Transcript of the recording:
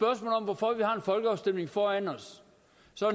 at folkeafstemning foran os